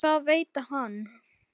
Og það veit hann.